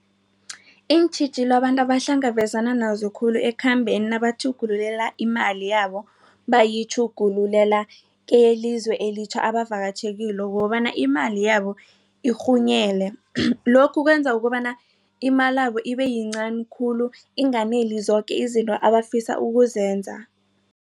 Iintjhijilo abantu abahlangabezana nazo khulu ekhambeni nabatjhugululela imali yabo bayitjhugulula elizwe elitjha abavakatjhe kilo kukobana imali yabo irhunyele lokhu kwenza ukobana imalabo ibeyincani khulu inganeli zoke izinto abafisa ukuzenza.